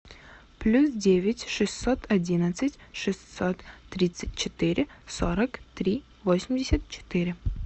плюс девять шестьсот одиннадцать шестьсот тридцать четыре сорок три восемьдесят четыре